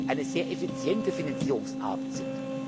eine sehr effiziente Finanzierungsart sind.